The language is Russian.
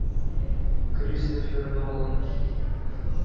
кристофер нолан